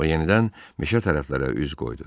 O yenidən meşə tərəflərə üz qoydu.